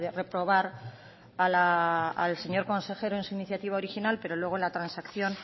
reprobar al señor consejero en su iniciativa original pero luego en la transacción